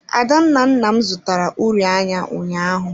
Adanna nna m zụtara uri anya ụnyaahụ.